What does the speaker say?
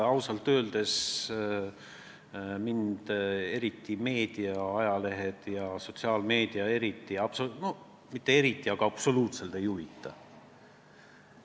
Ausalt öeldes mind meedia, ajalehed ja eriti sotsiaalmeedia absoluutselt ei huvita.